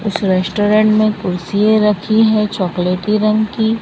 उस रेस्टोरेंट में कुर्सीए रखी हैं चॉकलेटी रंग की।